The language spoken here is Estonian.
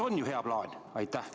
On ju hea plaan?